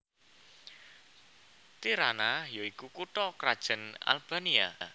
Tirana ya iku kutha krajan Albania